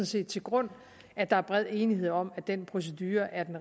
set til grund at der er bred enighed om at den procedure er den